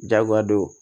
Jagoya do